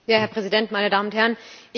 Herr Präsident, meine Damen und Herren!